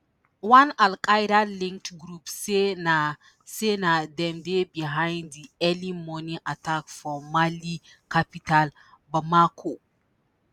one Al-Qaeda-linked group say na say na dem dey behind di early morning attack for Mali capital Bamako